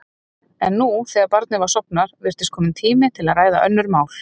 En nú, þegar barnið var sofnað, virtist kominn tími til að ræða önnur mál.